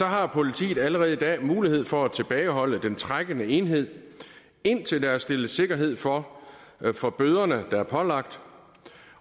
har politiet allerede i dag mulighed for at tilbageholde den trækkende enhed indtil der stilles sikkerhed for for bøderne der er pålagt